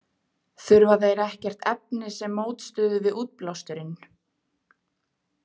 Þurfa þeir ekkert efni sem mótstöðu við útblásturinn?